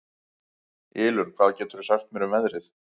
Ylur, hvað geturðu sagt mér um veðrið?